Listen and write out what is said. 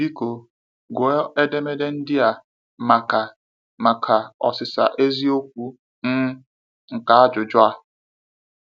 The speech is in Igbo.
Biko, gụọ edemede ndị a maka maka ọsịsa eziokwu um nke ajụjụ a.